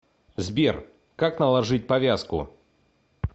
сбер как наложить повязку